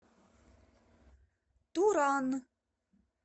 туран